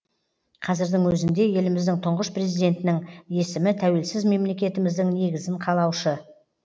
қазірдің өзінде еліміздің тұңғыш президентінің есімі тәуелсіз мемлекетіміздің негізін қалаушы